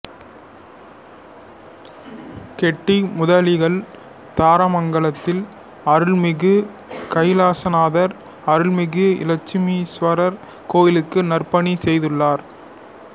கெட்டி முதலிகள் தாரமங்கலத்தில் அருள்மிகு கைலாசநாதர் அருள்மிகு இளமீஸ்வரர் கோயிலுக்கு நற்பணி செய்துள்ளனர்